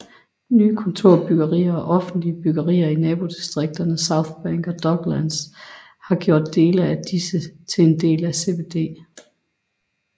Nye kontorbyggerier og offentlige byggerier i nabodistrikterne Southbank og Docklands har gjort dele af disse til en del af CBD